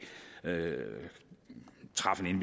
træffe en